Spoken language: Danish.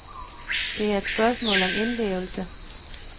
Det er et spørgsmål om indlevelse.